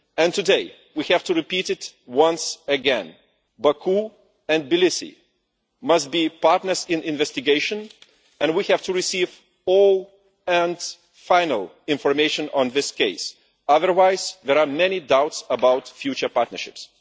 Today, we have to repeat it once again Baku and Tbilisi must be partners in the investigation, and we have to receive all and final information on this case, otherwise there are many doubts about future partnerships.